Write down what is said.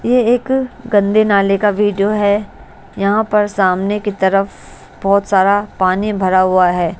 ये एक गंदे नाले का वीडियो है यहां पर सामने की तरफ बहोत सारा पानी भरा हुआ है।